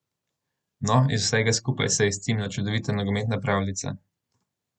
No, iz vsega skupaj se je izcimila čudovita nogometna pravljica.